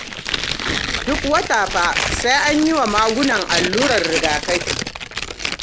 Duk wata fa sai an yi wa magunan allurar rigakafi